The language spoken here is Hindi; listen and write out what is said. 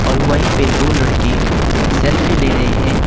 और वहीं पे दो लड़के सेल्फी ले रहे हैं।